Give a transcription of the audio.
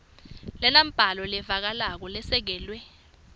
lenembako levakalako lesekelwe